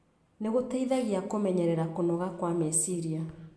nĩ gũteithagia kũmenyerera kũnoga kwa meciria.